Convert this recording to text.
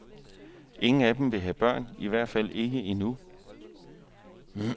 Ingen af dem vil have børn, i hvert fald ikke endnu.